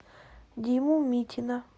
диму митина